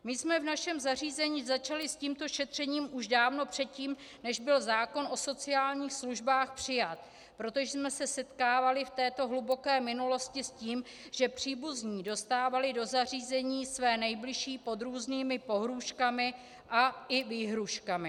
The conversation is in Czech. My jsme v našem zařízení začali s tímto šetřením už dávno předtím, než byl zákon o sociálních službách přijat, protože jsme se setkávali v této hluboké minulosti s tím, že příbuzní dostávali do zařízení své nejbližší pod různými pohrůžkami a i výhrůžkami.